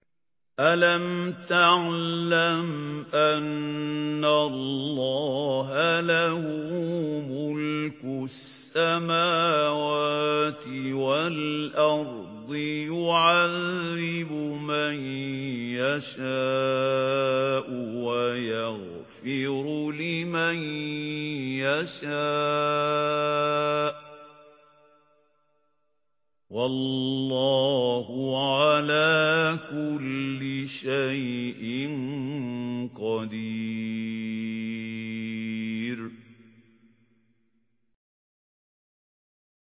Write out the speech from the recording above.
أَلَمْ تَعْلَمْ أَنَّ اللَّهَ لَهُ مُلْكُ السَّمَاوَاتِ وَالْأَرْضِ يُعَذِّبُ مَن يَشَاءُ وَيَغْفِرُ لِمَن يَشَاءُ ۗ وَاللَّهُ عَلَىٰ كُلِّ شَيْءٍ قَدِيرٌ